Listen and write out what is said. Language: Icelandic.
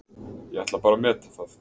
Ég ætla bara að meta það.